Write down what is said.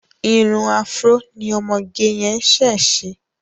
Irun afro ni ọmọge yẹn ṣe ṣá.